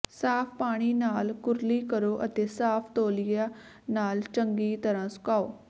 ਸਾਫ ਪਾਣੀ ਨਾਲ ਕੁਰਲੀ ਕਰੋ ਅਤੇ ਸਾਫ ਤੌਲੀਆ ਨਾਲ ਚੰਗੀ ਤਰ੍ਹਾਂ ਸੁਕਾਓ